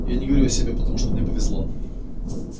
я не говорю о себе потому что мне повезло